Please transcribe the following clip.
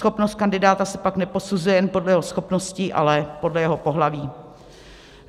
Schopnost kandidáta se pak neposuzuje jen podle jeho schopností, ale podle jeho pohlaví.